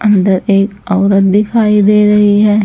अंदर एक औरत दिखाई दे रही है।